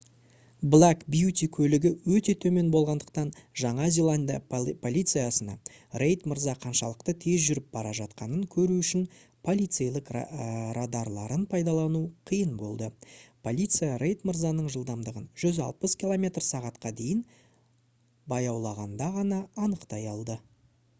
black beauty көлігі өте төмен болғандықтан жаңа зеландия полициясына рейд мырза қаншалықты тез жүріп бара жатқанын көру үшін полицейлік радарларын пайдалану қиын болды. полиция рейд мырзаның жылдамдығын 160 км/сағ-қа дейін баяулағанда ғана анықтай алды